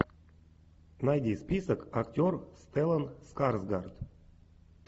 найди список актер стеллан скарсгард